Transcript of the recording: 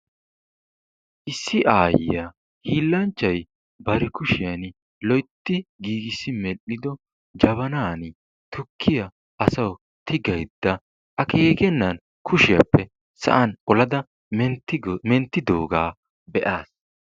Issi Aayiya hiilanchchay bari kushiyan loytti gigisi medhdhido Jabanani tukkiya asawu tigayda akkekenan kushiyappe sa'an olada menttigo mettidoga beasi.